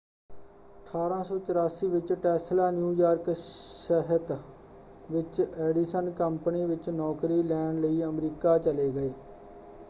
1884 ਵਿੱਚ Tesla New York ਸ਼ਹਿਤ ਵਿੱਚ ਐਡੀਸਨ ਕੰਪਨੀ ਵਿੱਚ ਨੌਕਰੀ ਲੈਣ ਲਈ ਅਮਰੀਕਾ ਚਲੇ ਗਏ।